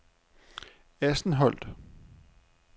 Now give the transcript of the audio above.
Assenholt